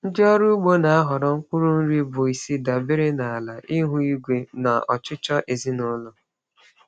Ndị ọrụ ugbo na-ahọrọ mkpụrụ nri bụ isi dabere na ala, ihu igwe, na ọchịchọ ezinụlọ.